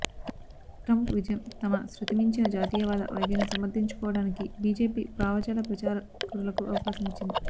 Trump విజయం తమ శృతిమించిన జాతీయవాద వైఖరిని సమర్థించు కోవటానికి బిజెపి భావజాల ప్రచారకులకు అవకాశమి చ్చింది